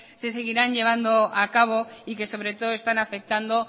se seguirán llevando acabo y que sobre todo están afectando